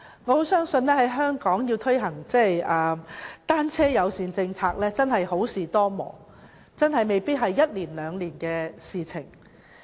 我相信在香港推行單車友善政策，真的好事多磨，未必會只是一兩年的事情。